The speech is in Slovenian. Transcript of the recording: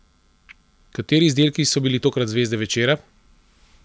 Kateri izdelki so bili tokrat zvezde večera?